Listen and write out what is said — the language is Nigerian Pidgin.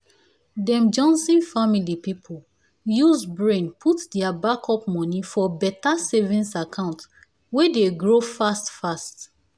dem johnson family people use brain put their backup money for better savings account wey dey grow fast fast.